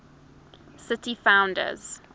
city founders